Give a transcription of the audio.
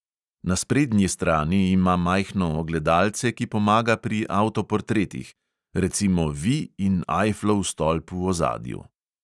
Na sprednji strani ima majhno ogledalce, ki pomaga pri avtoportretih, recimo vi in ajflov stolp v ozadju.